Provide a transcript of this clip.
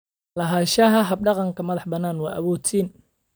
Lahaanshaha hab-dhaqan madax-bannaan waa awood-siin.